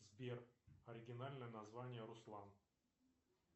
сбер оригинальное название руслан